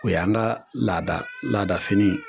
O yan ka lada laada fini ye.